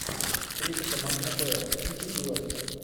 встреча команд апл сити и лестер